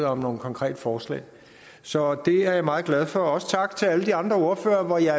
om nogle konkrete forslag så det er jeg meget glad for også tak til alle de andre ordførere hvor jeg